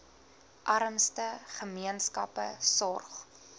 armste gemeenskappe sorg